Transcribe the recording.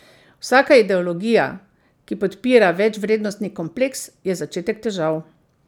Vsaka ideologija, ki podpira večvrednostni kompleks, je začetek težav.